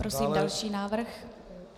Prosím další návrh.